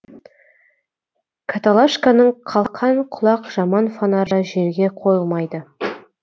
каталашканың қалқан құлақ жаман фонары жерге қойылмайды